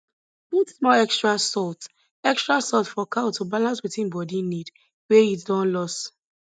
put small extra salt extra salt for cow to balance wetin body need wey heat don lose